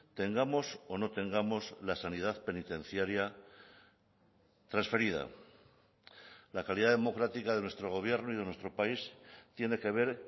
tengamos o no tengamos la sanidad penitenciaria transferida la calidad democrática de nuestro gobierno y de nuestro país tiene que ver